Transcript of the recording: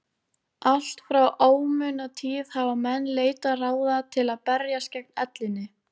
Allt frá ómunatíð hafa menn leitað ráða til að berjast gegn ellinni.